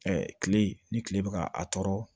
kile ni kile bɛ ka a tɔɔrɔ